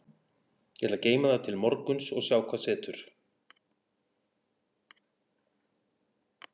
Ég ætla að geyma það til morguns og sjá hvað setur.